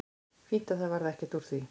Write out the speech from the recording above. Fínt að það varð ekki úr því.